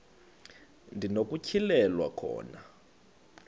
ndi nokutyhilelwa khona